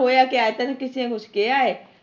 ਹੋਇਆ ਕਿਆ ਹੈ ਤੈਨੂੰ ਕਿਸੇ ਨੇ ਕੁਛ ਕਿਹਾ ਹੈ